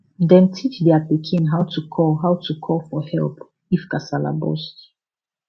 dem teach their pikin how to call how to call for help if kasala burst